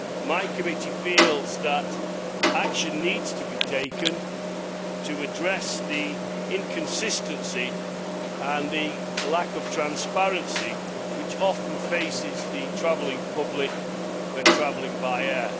My committee feels that action needs to be taken to address the inconsistency and the lack of transparency which often faces the public when travelling by air.